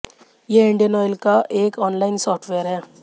ये Indian Oil का एक ऑनलाइन सॉफ्टवेयर है